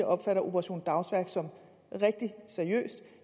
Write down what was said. opfatter operation dagsværk som rigtig seriøst